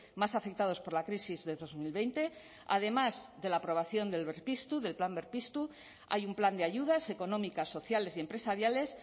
más afectados por la crisis del dos mil veinte además de la aprobación del berpiztu del plan berpiztu hay un plan de ayudas económicas sociales y empresariales